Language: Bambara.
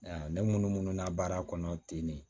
ne munnu munnu na baara kɔnɔ ten de